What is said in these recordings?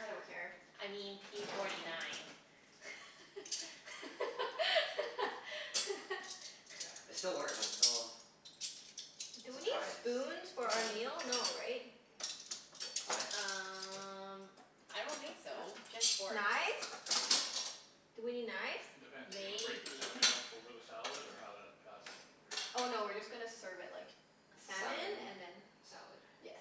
I don't care. I mean p forty nine. Yeah, it still works, I'm still Do we need surprised spoons for the our battery meal? No, has right? What? Um I don't think so. Just forks. Knives? Do we need knives? Depends. Are you gonna break the Maybe. salmon up over the salad, or how that, how's that gonna Oh work? no, we're just gonna serve it like salmon Salmon. and then. Salad. Yes.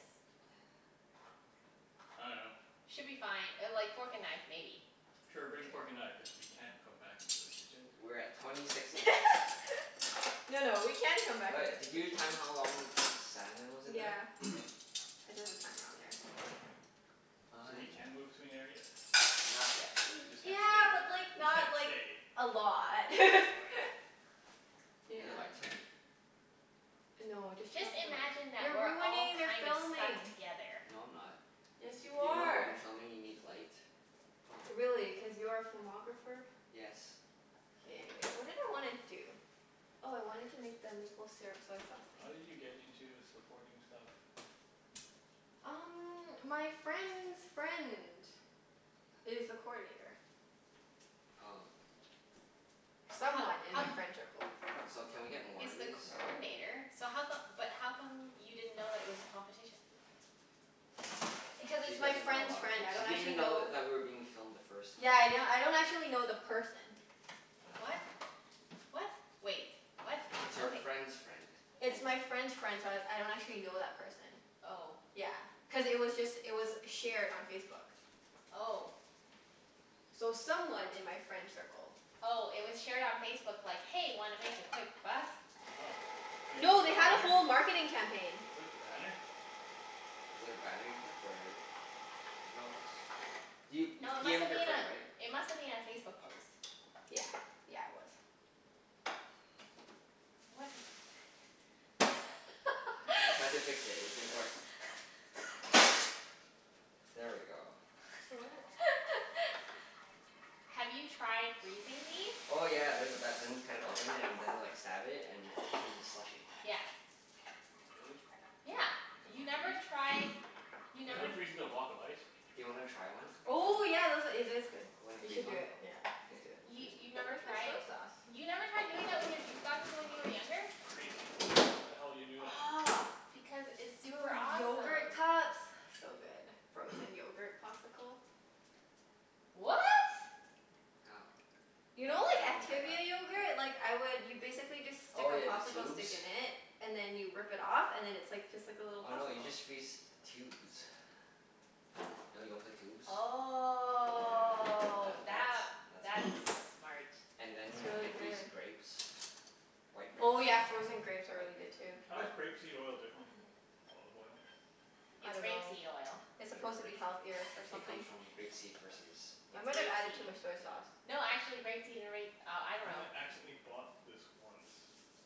I dunno. Should be fine. Uh like fork and knife maybe. Sure, K. bring fork and knife, cuz we can't come back into the kitchen. We're at twenty six minutes. No no, we can come back All right, into the did you kitchen. time how long the salmon was in there? Yeah. K. I did the timer on there. So we can move I between areas? Not yet. We just can't Yeah, stay? but like We just can't not like stay. a lot. Okay. Is Yeah. there lights here? No, just turn Just off the light. imagine that You're we're all ruining their kind of stuck filming. together. No, I'm not. Yes, you You know in are. filming you need light? Really? Cuz you're a filmographer? Yes. Okay, anyways. What did I wanna do? Oh I wanted to make the maple syrup soy sauce thing. How did you get into this recording stuff? Um my friend's friend is the coordinator. Oh. But ho- Someone in my ho- friend tircle. So can we get more he's of the these? coordinator, so how come, but how come you didn't know that it was a competition? Because She it's my doesn't know a friend's lot of friend. things. I She don't didn't even actually know know. that we were being filmed the first time. Yeah yeah, I don't actually know the person. What? What? Wait. What? It's her Okay. friend's friend. It's my friend's friend, so I I don't actually know that person. Oh. Yeah, cuz it was just, it was shared on Facebook. Oh. So someone in my friend circle. Oh, it was shared on Facebook like, "Hey, wanna make a quick buck?" Oh. And you No, clicked they the had a banner? whole marketing campaign. You clicked the banner? Was it a banner you clicked or? No it was, you you No, it p must m'ed have your been friend right? a, it must have been a Facebook post. Yeah. Yeah, it was. What? I tried to fix it. It didn't work. There we go. What? Have you tried freezing these? Oh yeah. They're the best. Then you cut it open and then like stab it and it turns into slushy. Yeah. Really? Yeah. Yep. You It never doesn't tried, freeze? you Doesn't never it freeze into a block of ice? Do you wanna try one? Oh yeah, those a- , it is good. You wanna You freeze should do one? it. Yeah. Let's Okay. do it. We'll You freeze you've one. never Where's my tried? soy sauce? You never tried doing it with your juice boxes when you were younger? Crazy. Why the hell you would do that? Aw, Because it's do it super with awesome. yogurt cups? So good. Frozen yogurt popsicle. What? How? You know I I like haven't tried that. Activia yogurt? Like I would, you basically just stick Oh a yeah, the popsicle tubes? stick in it and then you rip it off and then it's like just like a little Oh no, you popsicle. just freeze the tubes. You know Yoplait tubes? Yeah, Oh that that, that's that's that's smart. And then you can freeze grapes. White grapes. Oh yeah, frozen grapes are White really good grapes. too. How I is grape seed oil different from olive oil? I It's rape dunno. seed oil. It's Sure, supposed to be rape seed healthier or oil. It something. comes from grape seed versus I It's might have rape added too seed. much soy sauce. No, actually grape seed and ra- oh, I dunno. I accidentally bought this once.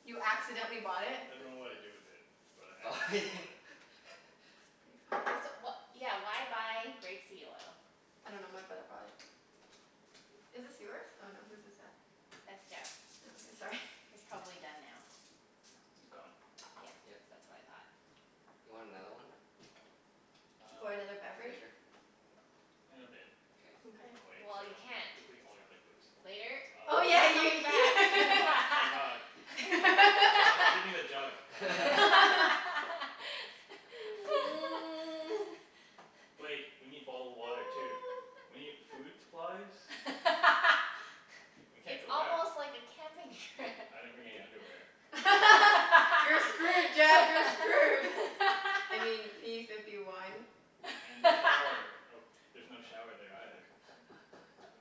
You accidentally bought it? I dunno Di- what I did with it, but I accidentally bought it. That's pretty funny. So wha- yeah, why buy grape seed oil? I dunno, my brother brought it. Is this yours? Oh no, whose is it? That's Jeff's. Oh okay. Sorry. It's probably done now. It's gone. Yeah. Yep. That's what I thought. You want another one? Or Um another beverage? Later? In a bit. Okay. Mkay. I'll wait. So Well, I you don't can't. deplete all your liquids. Later? Oh Oh my yeah yeah ye- god. Oh my god. Give me give me the jug. Wait. We need bottled water too. We need food supplies. We can't It's go back. almost like a camping trip. I didn't bring any underwear. You're screwed Jeff, you're screwed. I mean p fifty one. And the shower. Oh there's no shower there either.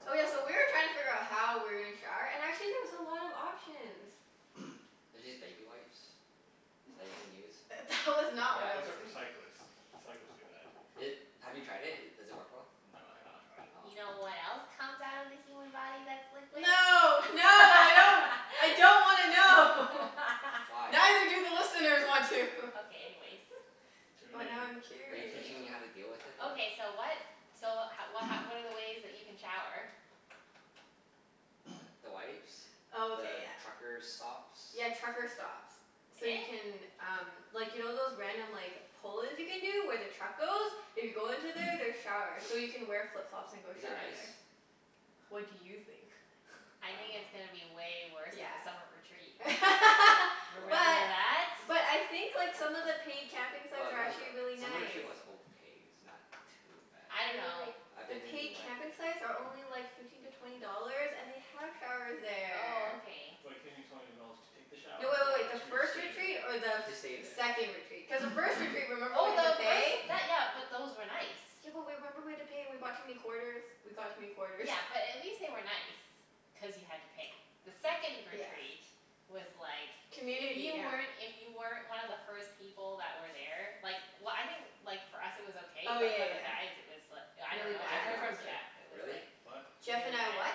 Oh yeah, so we were trying to figure how we were gonna shower and actually there's a lot of options. There's these baby wipes that you can use. That was not what I Those was Yeah. are for think- cyclists. Cyclists do that. It, have you tried it? Does it work well? No, I have not tried it. Oh. You know Hmm. what else comes out of the human body that's liquid? No. No, I don't. I don't wanna know. Why? Neither do the listeners want to. Okay, anyways. Tune But in. now I'm Are you curious. teaching me how to deal with it or? Okay so what, so ho- wh- h- what are the ways that you can shower? The wipes. Oh okay, The yeah. trucker stops. Yeah, trucker stops. So you can um, like you know those random like pull-ins you can do where the truck goes? If you go into there there's showers, so you can wear flip-flops and go Is it shower nice? there. What do you think? I think I it's going to dunno. be way worse Yeah. than the summer retreat. Remember What But that? but I think like some of the paid camping Well, sites are not actually the, really some of the nice. was okay. It's not too bad. I dunno. I've The been in paid like camping sites are only like fifteen to twenty dollars and they have showers Oh there. okay. Like fifteen to twenty dollars to take the shower No, wait wait or wait. The to first stay retreat there? or the To stay th- there. second retreat? Cuz the first retreat remember we Oh had to no, pay? those, that, yeah, but those were nice. Yeah but w- remember we had to pay and we brought too many quarters? We got too many quarters. Yeah, but at least they were nice, cuz you had to pay. The second Yeah. retreat was like, if Community, you yeah. weren't, if you weren't one of the first people that were there Like w- I think like for us it was okay Oh but for yeah the yeah guys it was l- I yeah. Really dunno, I Jeff bad? and heard I was from there. Jeff it was Really? like What? Jeff really and I bad. what?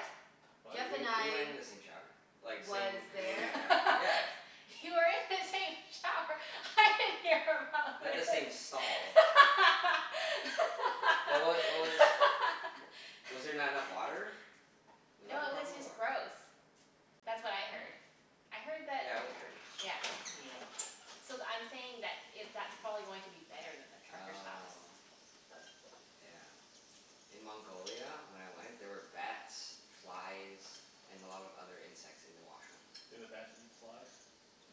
W- Jeff and we went I in the same shower. Like Was same there? community shower. Yeah. You were in the same shower? I didn't hear about Not the this. same stall. But what w- what was, was there not enough water? Was that No, the it was problem? just Or gross. That's what I heard. Oh. I heard that, Yeah, it was dirty. yeah. Yeah. So th- I'm saying that it, that's probably going to be better than the trucker stops. Oh. Yeah. In Mongolia when I went, there were bats, flies, and a lot of other insects in the washroom. Did the bats eat the flies?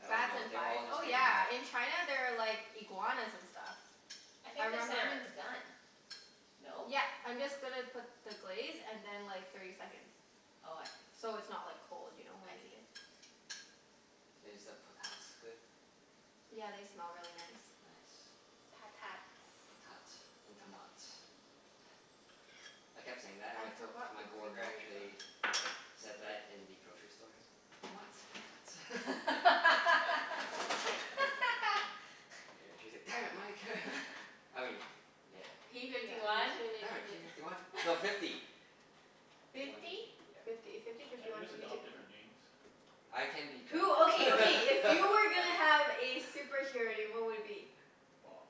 I don't Bats know. and They were flies? all just Oh hanging out. yeah, in China there are like iguanas and stuff. I I think the remember salmon's done, no? Yep, I'm just gonna put the glaze and then like thirty seconds. Oh, I see. So it's not like cold, you know, when I we eat see. it? Is the potats good? Yeah, they smell really nice. Nice. Patats. Potats and tomats. I kept saying that and I my to- forgot my the green coworker onion though. actually like said that in the grocery store. Tomats. Potats. Yeah, she was like, "Damn it, Mike." I mean, yeah. P Yeah fifty one? Damn give it. P it. fifty one. No, fifty. Fifty one, Fifty? fifty. Yeah. Fifty. Fifty, fifty Can't we one, just fifty two. adopt different names? I can be Jeff. Who, okay, okay, if you were gonna have a superhero name what would it be? Bob.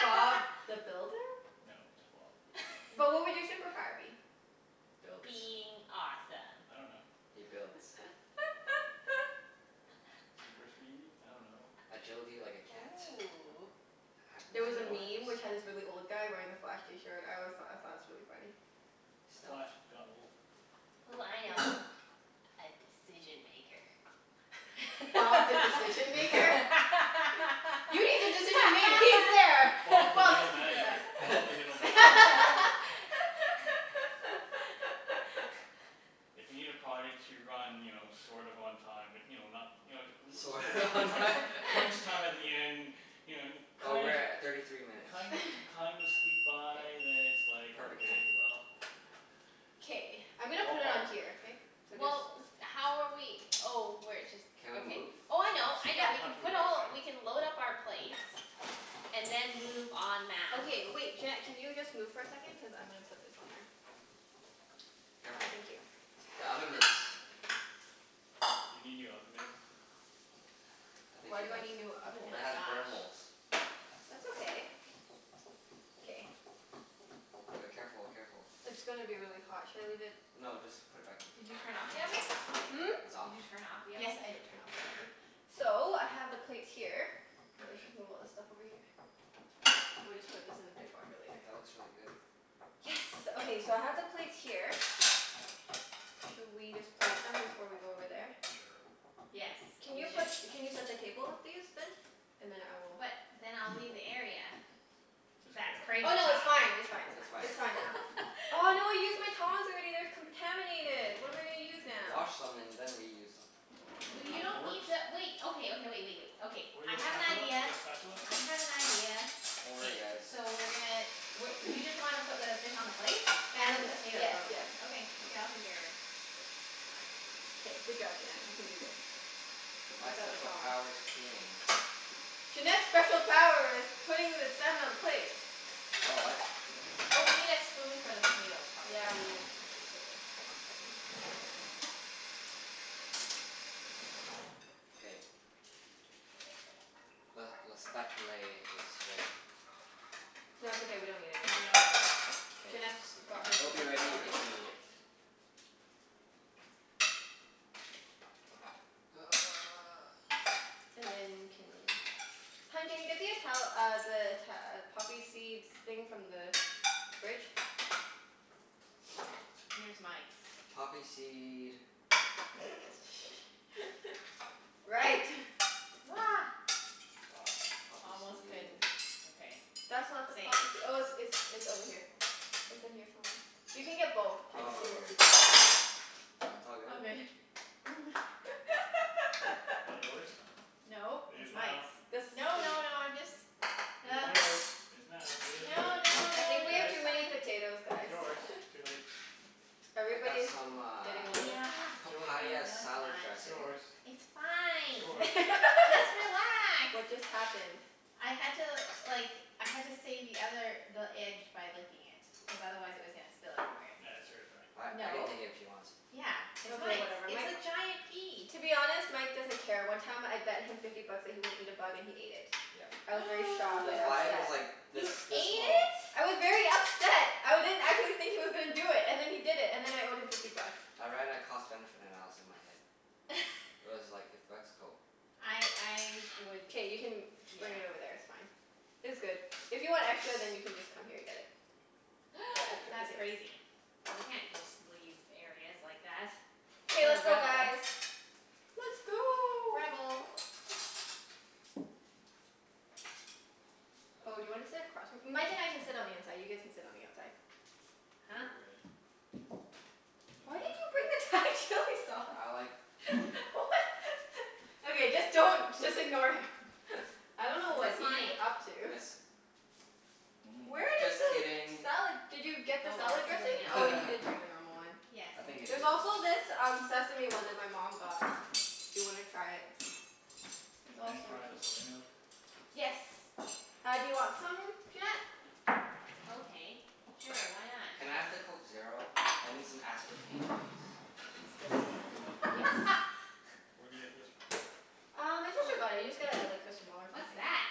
Bob the Builder? No, just Bob. But what would your superpower be? Builds. Being awesome. I don't know. He builds. Super speed? I dunno. Agility like a cat. Ooh. Have There nine was a lives. Stealth? meme which had this really old guy wearing the Flash t-shirt. I always thought, I thought it was really funny. Stealth? Flash got old. Ooh, I know. A decision maker. That's Bob the not a Decision Maker? superpower. You need a decision made? He's there! Bob the Bob's middle manager. Bob the middle manager. If you need a project to run, you know, sort of on time, but you know, not You know t- Sort of l- on t- time? crunch time at the end You know and Oh, kind we're of at thirty three minutes. kind of kind of squeak by then it's like, Perfect okay, timing. well K, I'm gonna Call put it Bob. on here, okay? So just Well, with, how are we oh, we're jus- Can we okay. move Oh I spots? know, I We know, Yep. don't we have can to move put right all, away. we can load up our plates and then move en masse. Okay wait, Junette can you just move for a second? Cuz I'm gonna put this on there. Ah Careful. thank you. The oven mitts. You need new oven mitts? I think Why she do I does. need new oven Oh It mitts? my has burn gosh. holes. That's okay. K. D- careful, careful. It's gonna be really hot. Should I leave it No, just put it back in. Did you turn off the oven? Hmm? It's off? Did you turn off the Yes, oven? I did turn off the oven. So, I have the plates here. Let's just move K. all this stuff over here. We'll just put this in the dishwasher later. That looks really good. Yes. Good job, Okay, team. so I have the plates here. Should we just plate them before we go over there? Sure. Yes, Can we you put, should. can you set the table with these then? And then I will But then I'll leave the area. It's That's okay. crazy Oh no, it's talk. fine, it's fine, it's It's fine. fine. It's fine now. Oh no, I used my tongs already. They're contaminated. What am I gonna use now? Wash them and then reuse them. Well you Two don't forks? need to wait, okay, okay, wait wait wait. Okay. Or you I got a have an spatula? idea. You got a spatula? I have an idea. Don't K. worry guys. So we're gonna w- you just want to put the fish on the plate? And the And, potatoes yes, on the yes. plate? Okay. Okay, I'll take care of it. Fine. K, good job Junette. You can do this. My Without the special tongs. power's cleaning. Junette's special power is putting the salmon on a plate. Oh, what? Oh, we need a spoon for the potatoes probably. Yeah, we need a spoon for the potatoes. Hold on a second. K. Le le spatulay is ready. No, it's okay, we don't need it No, anymore. we don't need it. K. Junette's got her It'll be super ready power. if you need it. And then can, hun can you get the Ital- uh the Ita- uh poppy seeds thing from the fridge? Here's Mike's. Poppy seed Right. Ah. Poppy Almost seed couldn't, okay. That's not the Saved. poppysee- oh it's it's it's over here. It's in here somewhere. You can get both and Oh, see what here. people want. It all All good. good. That yours? No, It is it's now. Mike's. The No, no, no, I'm just It is yours. It's now. It is yours. No, no, I no, think we no, have Yes. it's too many fine. potatoes It's guys. yours. Too late. I got Everybody's some getting uh a little Yeah. It's yours now. papaya No, it's salad not. It's dressing. yours. It's It's fine. yours. Just relax. What just happened? I had to like, I had to save the other, the edge by licking it. Cuz otherwise it was gonna spill everywhere. That's hers, right? I I can No. take it if she wants. Yeah, it's Okay Mike's. whatever. It's Mike, a giant piece. to be honest, Mike doesn't care. One time I bet him fifty bucks that he wouldn't eat a bug and he ate it. Yep. I was very shocked The and fly was upset. like this You ate this small. it? I was very upset. I didn't, I didn't think he was gonna do it, and then he did it. And then I owed him fifty bucks. I ran a cost benefit analysis in my head. It was like, fifty bucks? Cool. I I would, K, you can yeah. bring it over there, it's fine. It's good. If you want extra Yes. then you can just come here and get it. That's crazy. You can't just leave areas like that. Okay What a let's go rebel. guys. Let's go. Rebel. Oh, do you want to sit across from, Mike and I can sit on the inside. You guys can sit on the outside. Huh? Why did you bring the Thai chili sauce? I like chili. What? Okay, just don't, just ignore him. I don't know Is what this he's mine? up to. Yes. Where Mm. did Just the kidding. salad, did you get the Oh well, salad it's too late dressing? now. Oh, you did bring the normal one. Yes. I think it There's is yours. also this um sesame one that my mom got. If you wanna try it. There's Can all I try the sorts of soy milk? Yes. Uh do you want some, Junette? Okay, sure. Why not? Can I have the Coke Zero? I need some aspartame please. It's You this like this one. one? Yes. Where do you get this from? Uh, my sister got it. You just get a like or What's something. that?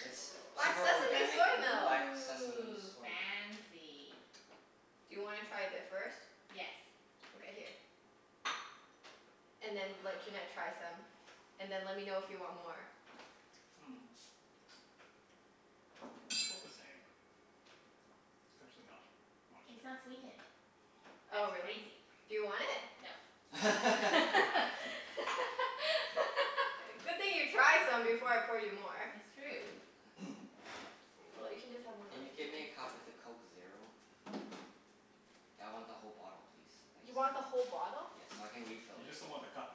It's Black super sesame organic soy milk. black sesame Ooh, soy milk. Mmm. fancy. Do you wanna try a bit first? Yes. Okay, here. And then let Junette try some. And then let me know if you want more. Mm. 'Bout the same. It's actually not much It's not different. sweetened. Oh, That's really? crazy. Do you want it? No. I can have it. Good thing you tried some before I poured you more. It's true. Well, you Cool. can just have my Can lemon you tea get me then. a cup with a Coke Zero? I want the whole bottle please. Thanks. You want the whole bottle? Yes, so I can refill You it. just don't want the cup.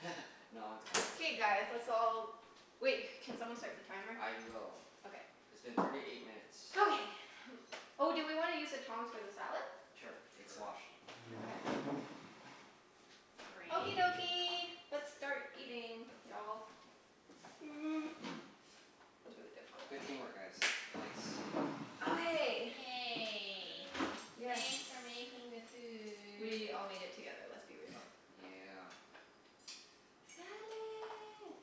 No, I want the cup too. K guys, let's You want all, it. wait, can someone start the timer? I will. Okay. It's been thirty eight minutes. Okay. Oh, do we wanna use the tongs for the salad? Sure, it's Sure. washed. Okay. Okie Great. dokie, let's start eating y'all. Mm, was really difficult. Good team work guys. Thanks. Okay. Yay. Yay. Yes. Thanks for making the food. We all made Yeah. it together. Let's be real. Yeah. Salad.